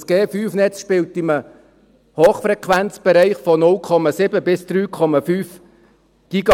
Das 5G-Netz spielt in einem Hochfrequenzbereich von 0,7 bis 3,5 GHz.